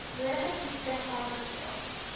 nodige toetsing aanbeveel